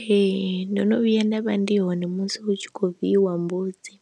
Ee ndo no vhuya nda vha ndi hone musi hu tshi khou viiwa mbudzi,